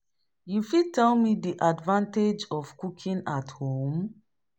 You fit tell me di advantage of cooking at home?